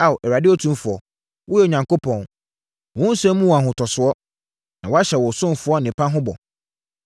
Ao, Awurade Otumfoɔ, woyɛ Onyankopɔn! Wo nsɛm mu wɔ ahotosoɔ, na woahyɛ wo ɔsomfoɔ nnepa ho bɔ.